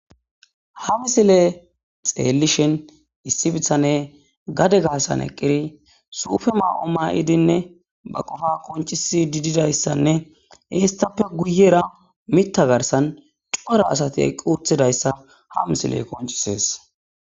Ha missile xellishin issi bitane gadde asan eqqidi suffe ma'o mayiddinne ba qopa qoncciside dizzayisanne hessape guyera mitta garsan Cora asati eqqi uttidaysa ha missiley qonccises.